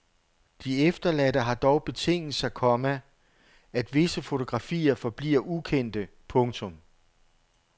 De efterladte har dog betinget sig, komma at visse fotografier forbliver ukendte. punktum